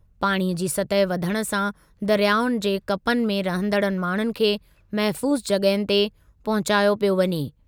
पाणीअ जी सतहि वधण सां दरियाउनि जे कपनि ते रहंदड़ु माण्हुनि खे महिफ़ूज़ु जॻ्हुनि ते पहुचायो पियो वञे।